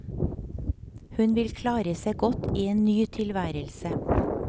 Hun vil klare seg godt i en ny tilværelse.